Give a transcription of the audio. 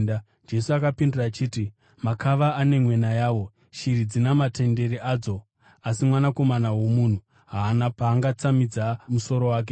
Jesu akapindura achiti, “Makava ane mwena yawo, shiri dzina matendere adzo, asi Mwanakomana woMunhu haana paangatsamidza musoro wake.”